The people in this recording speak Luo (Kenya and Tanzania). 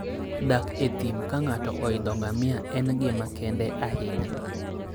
Dak e thim ka ng'ato oidho ngamia en gima kende ahinya.